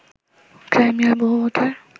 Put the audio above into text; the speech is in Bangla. ক্রাইমিয়ার বহু ভোটার